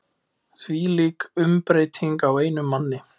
Þvílík umbreyting á einum manni.